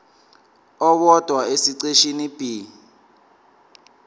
owodwa esiqeshini b